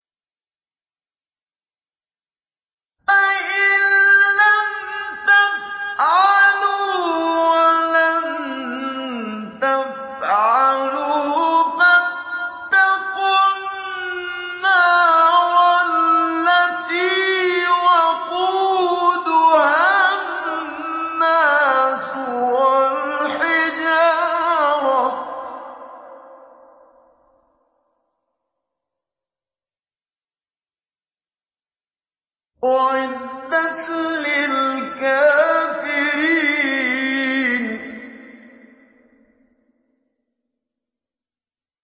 فَإِن لَّمْ تَفْعَلُوا وَلَن تَفْعَلُوا فَاتَّقُوا النَّارَ الَّتِي وَقُودُهَا النَّاسُ وَالْحِجَارَةُ ۖ أُعِدَّتْ لِلْكَافِرِينَ